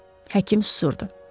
Həkim susurdu.